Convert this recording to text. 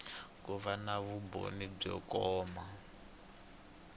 ku na vumbhoni byo komba